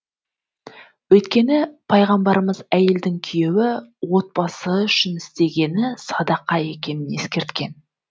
өйткені пайғамбарымыз әйелдің күйеуі отбасы үшін істегені садақа екенін ескерткен